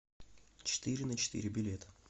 четыреначетыре билет